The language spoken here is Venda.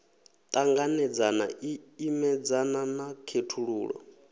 ṱanganedzana i imedzana na khethululo